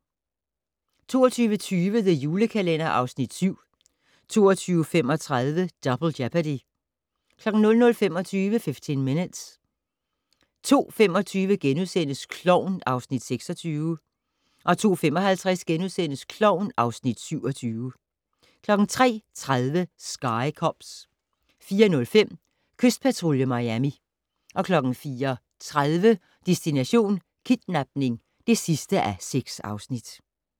22:20: The Julekalender (Afs. 7) 22:35: Double Jeopardy 00:25: 15 Minutes 02:25: Klovn (Afs. 26)* 02:55: Klovn (Afs. 27)* 03:30: Sky Cops 04:05: Kystpatrulje Miami 04:30: Destination: Kidnapning (6:6)